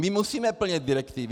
My musíme plnit direktivy.